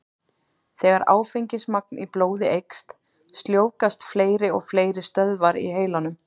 Þegar áfengismagn í blóði eykst, sljóvgast fleiri og fleiri stöðvar í heilanum.